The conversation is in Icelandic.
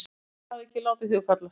Ingveldur hafði ekki látið hugfallast.